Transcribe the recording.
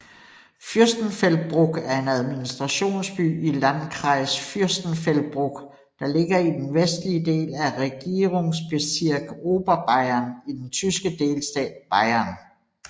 Fürstenfeldbruck er administrationsby i Landkreis Fürstenfeldbruck der ligger i den vestlige del af Regierungsbezirk Oberbayern i den tyske delstat Bayern